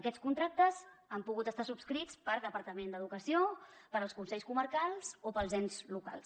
aquests contractes han pogut estar subscrits pel departament d’educació pels consells comarcals o pels ens locals